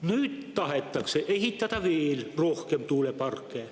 Nüüd tahetakse ehitada veel rohkem tuuleparke.